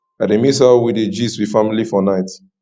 i dey miss how we dey gist with family for night